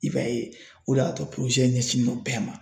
I b'a ye o de y'a to ɲɛsinnen no bɛɛ ma.